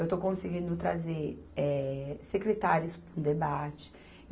Eu estou conseguindo trazer, eh, secretários para o debate.